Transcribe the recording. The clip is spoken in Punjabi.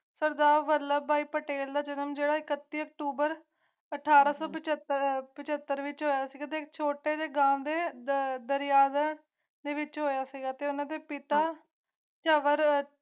ਸਰਦਾਰ ਵੱਲਭ ਭਾਈ ਪਟੇਲ ਦਾ ਜਨਮ ਏਕਤੀਸ ਅਕਤੂਬਰ ਅਠਾਰਾਂ ਸੌ ਪੱਤਰ ਵਿੱਚ ਆਰਥਿਕ ਤੇ ਝੋਟੇ ਨੇ ਗਾਹ ਅੰਦਰ ਯਾਰ ਹੈ ਛਪਿਆ ਤੇ ਉਨ੍ਹਾਂ ਦੇ ਪਿਤਾ ਸਵਰ